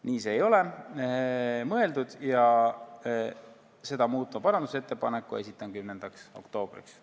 Nii ei ole see mõeldud ja seda muutva parandusettepaneku esitan 10. oktoobriks.